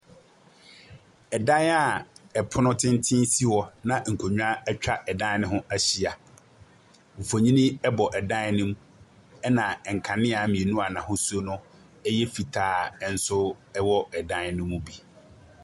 Ɛdan a ɛpono tenten si hɔ a nkonwa ɛtwa ɛdan no ho ɛhyia. Nfonii ɛbɔ ɛdan nim, ɛna nkanea mmienu a n'ahosuo ɛyɛ fitaa ɛnso ɛwɔ dan no mu bi.